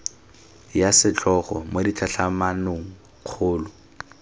ya setlhogo mo ditlhatlhamanong kgolo